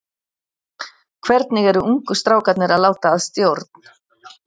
Hvernig eru ungu strákarnir að láta að stjórn?